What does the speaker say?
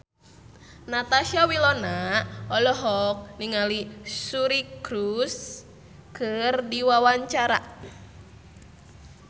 Natasha Wilona olohok ningali Suri Cruise keur diwawancara